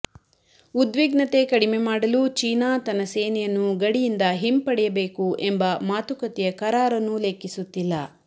ಉದ್ವಿಗ್ನತೆ ಕಡಿಮೆ ಮಾಡಲು ಚೀನಾ ತನ್ನ ಸೇನೆಯನ್ನು ಗಡಿಯಿಂದ ಹಿಂಪಡೆಯಬೇಕು ಎಂಬ ಮಾತುಕತೆಯ ಕರಾರನ್ನೂ ಲೆಕ್ಕಿಸುತ್ತಿಲ್ಲ